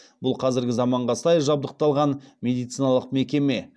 бұл қазіргі заманға сай жабдықталған медициналық мекеме